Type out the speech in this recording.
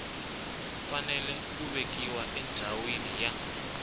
fanele ku vekiwa endhawini ya